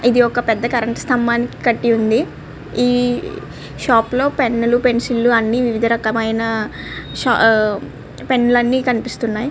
ఇది ఒక పెద్ద కరెంట్ స్తంభానికి కట్టి ఉంది ఈ షాప్ లో పెన్ లు పెన్సిల్ లు అన్ని వివిధ రకమైన షా ఆ పెన్ లు అన్ని కనిపిస్తున్నాయి.